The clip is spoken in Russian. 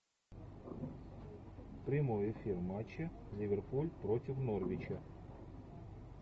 прямой эфир матча ливерпуль против норвича